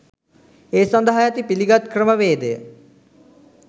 ඒ සඳහා ඇති පිලිගත් ක්‍රමවේදය